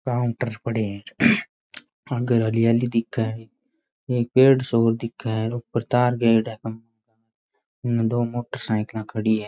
Counter पड़े है आगे हरियाली दिखे है एक पेड़ सा दिखे है ऊपर तार गएडा है इन दो मोटरसाइकिल खड़ी है।